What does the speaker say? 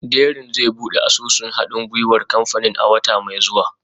Dẹrín zai buɗe asusun haɗin gwiwar kamfanin a wata mai zuwa